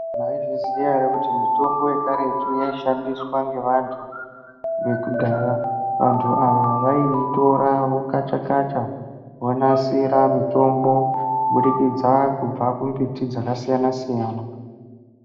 Maizviziya ere kuti mitombo yekaretu inofundiswa ngevantu vekudhaya. Kantu ava vaiitora vokacha-kacha vonasira mutombo kubudikidza kubva kumbiti dzakasiyana-siyana.